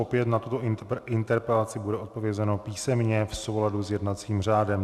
Opět na tuto interpelaci bude odpovězeno písemně v souladu s jednacím řádem.